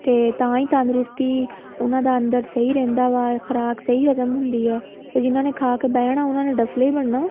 ਤੇ ਤਾਂਹੀ ਤੰਦਰੁਸਤੀ ਉਹਨਾ ਅੰਦਰ ਸਹੀਂ ਰਹਿੰਦਾ ਵਾ ਖ਼ੁਰਾਕ ਸਹੀਂ ਹਜ਼ਮ ਹੁੰਦੀ ਆ ਤੇ ਜਿਹਨਾ ਖਾ ਕੇ ਬਹਿਣਾ ਉਹਨਾ ਨੇ ਤਾਂ ਦੱਫ਼ਲੇ ਹੀ ਬਣਨਾ